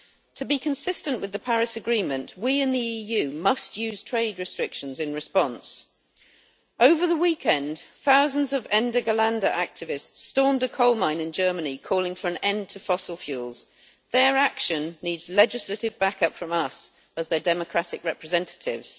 To be consistent with the Paris Agreement, we within the EU must use trade restrictions in response. Over the weekend, thousands of Ende Gelände' activists stormed a coal mine in Germany calling for an end to fossil fuels. Their action needs legislative back up from us as their democratic representatives.